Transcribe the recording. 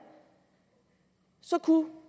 så kunne